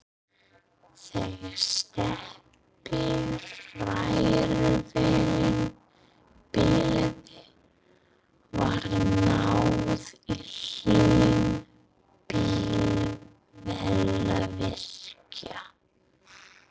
Þegar steypuhrærivélin bilaði var náð í Hlyn bifvélavirkja.